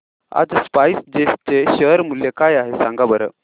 आज स्पाइस जेट चे शेअर मूल्य काय आहे सांगा बरं